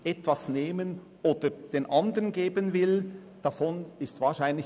Falls sich sonst noch jemand in die Rednerliste eintragen möchte – das Spiel ist frei.